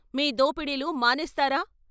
మీ దోపడీలు మానేస్తారా?